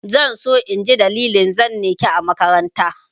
Zan so in ji dalilin zane ki a makaranta.